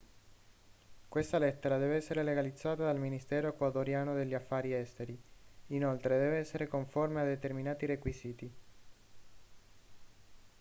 questa lettera deve essere legalizzata dal ministero ecuadoriano degli affari esteri inoltre deve essere conforme a determinati requisiti